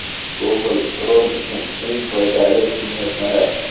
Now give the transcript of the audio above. Google Chrome uchun eng foydali kengaytmalar.